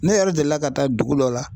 Ne yɛrɛ delila ka taa dugu dɔ la.